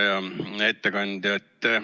Hea ettekandja!